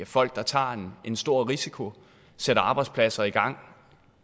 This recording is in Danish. folk der tager en stor risiko sætter arbejdspladser i gang